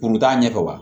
Kuru t'a ɲɛ kɔ wa